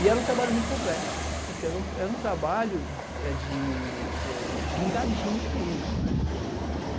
E era um trabalho muito complexo, porque era um trabalho de pingadinho mesmo.